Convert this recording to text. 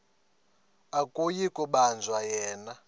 akuyi kubanjwa yena